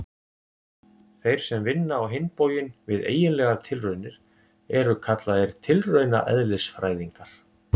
Þeir sem vinna á hinn bóginn við eiginlegar tilraunir eru kallaðir tilraunaeðlisfræðingar.